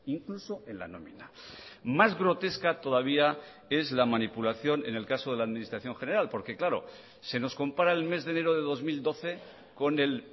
incluso en la nómina más grotesca todavía es la manipulación en el caso de la administración general porque claro se nos compara el mes de enero de dos mil doce con el